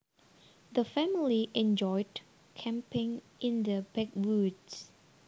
The family enjoyed camping in the backwoods